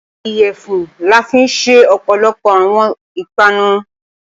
Iyẹ̀fun la fi ń ṣe ọ̀pọ̀lọpọ̀ àwọn ìpanu